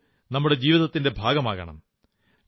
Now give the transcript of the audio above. കളികൾ നമ്മുടെ ജീവിതത്തിന്റെ ഭാഗമാകണം